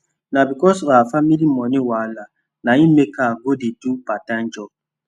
na becos of her family moni wahala na e make her go dey do part time job